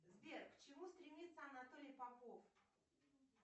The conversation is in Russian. сбер к чему стремится анатолий попов